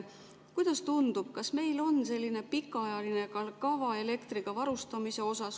Kuidas tundub, kas meil on pikaajaline kava elektriga varustamise kohta?